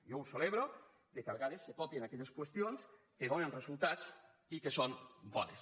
jo celebro que a vegades se copien aquelles qüestions que donen resultats i que són bones